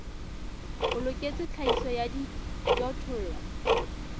o loketseng tlhahiso ya dijothollo